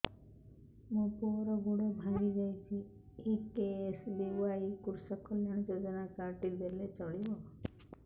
ମୋ ପୁଅର ଗୋଡ଼ ଭାଙ୍ଗି ଯାଇଛି ଏ କେ.ଏସ୍.ବି.ୱାଇ କୃଷକ କଲ୍ୟାଣ ଯୋଜନା କାର୍ଡ ଟି ଦେଲେ ଚଳିବ